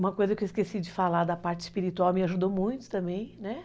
Uma coisa que eu esqueci de falar da parte espiritual me ajudou muito também, né?